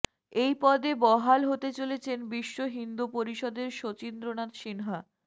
এই পদে বহাল হতে চলেছেন বিশ্ব হিন্দু পরিষদের শচীন্দ্রনাথ সিনহা